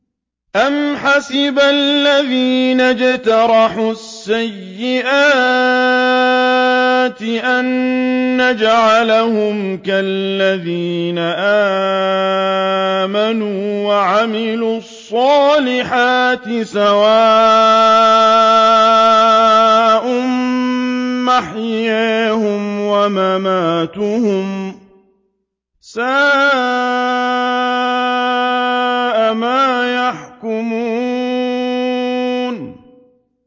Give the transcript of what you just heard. أَمْ حَسِبَ الَّذِينَ اجْتَرَحُوا السَّيِّئَاتِ أَن نَّجْعَلَهُمْ كَالَّذِينَ آمَنُوا وَعَمِلُوا الصَّالِحَاتِ سَوَاءً مَّحْيَاهُمْ وَمَمَاتُهُمْ ۚ سَاءَ مَا يَحْكُمُونَ